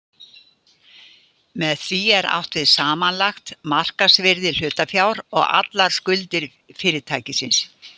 Með því er átt við samanlagt markaðsvirði hlutafjár og allar skuldir fyrirtækisins.